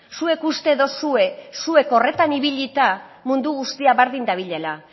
zuek uste duzue zuek horretan ibilita mundu guztia berdin dabilela